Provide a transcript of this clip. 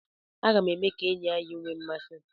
Aga m eme ka enyi anyị a nwee isi.